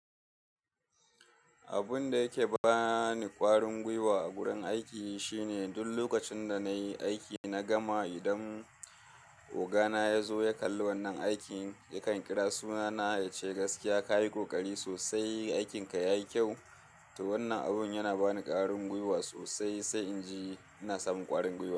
Abun da yake bani ƙwarin gwiwa a gurin aiki shine duk lokacin da na yi aiki, na gama idan ogana ya zo ya kalli wannan aikin yakan kira suna na ya ce gaskiya ka yi ƙoƙari sosai, aikinka ya yi kyau. To wannan abun yana bani ƙwarin gwiwa sosai, sai in ji ina samun ƙwarin gwiwa.